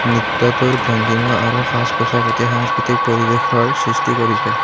নৃত্যটোৰ ভংঙ্গীমা আৰু সাজ পোছাক এটি সাংস্কৃতিক পৰিৱেশৰ সৃষ্টি কৰিছে।